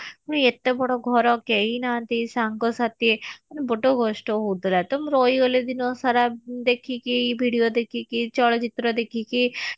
ଏତେ ବଡ ଘର କେହି ନାହାନ୍ତି ସାଙ୍ଗ ସାଥି ମାନେ ବଡ କଷ୍ଟ ହଉ ଥିଲା ତ ମୁଁ ରହିଗଲି ଦିନସାରା ଦେଖିକି video ଦେଖିକି ଚଳଚିତ୍ର ଦେଖିକି